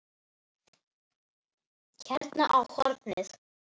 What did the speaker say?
Hérna á hornið.